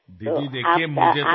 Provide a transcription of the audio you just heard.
দিদি দেখুন আমার তো